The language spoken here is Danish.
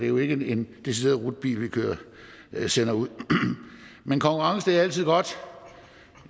jo ikke en decideret rutebil vi sender ud men konkurrence er altid godt